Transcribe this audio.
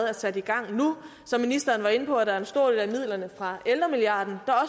er sat i gang som ministeren var inde på er der en stor del af midlerne fra ældremilliarden der